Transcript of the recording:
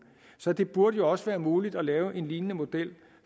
så det burde jo også være muligt at lave en lignende model